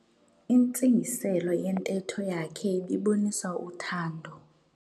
Intsingiselo yentetho yakhe ibibonisa uthando.